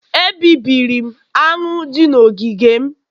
Ebibiri m aṅụ dị n'ogige m